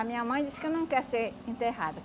A minha mãe disse que não quer ser enterrada.